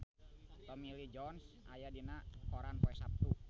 Tommy Lee Jones aya dina koran poe Saptu